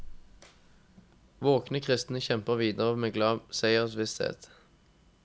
Våkne kristne kjemper videre med glad seiersvisshet.